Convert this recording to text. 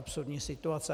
Absurdní situace.